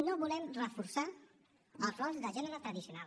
no volem reforçar els rols de gènere tradicional